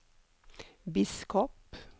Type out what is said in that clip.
biskop